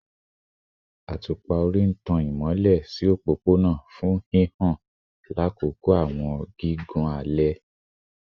Atupa-ori n tan imọlẹ opopona fun hihan lakoko awọn gigun alẹ